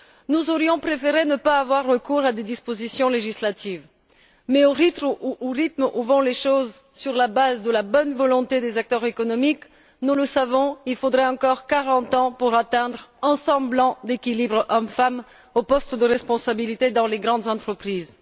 Nous aurions préféré ne pas avoir recours à des dispositions législatives, mais au rythme où vont les choses, sur la base de la bonne volonté des acteurs économiques, nous le savons, il faudra encore 40 ans pour atteindre un semblant d'équilibre hommes femmes aux postes de responsabilité dans les grandes entreprises.